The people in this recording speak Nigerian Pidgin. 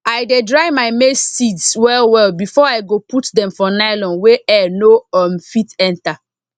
i dey dry my maize seeds well well before i go put dem for nylon wey air no um fit enter